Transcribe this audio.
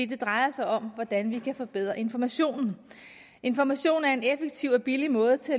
der drejer sig om hvordan vi kan forbedre informationen information er en effektiv og billig måde til